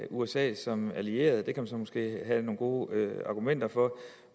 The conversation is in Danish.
usa som allieret det kan man så måske have nogle gode argumenter for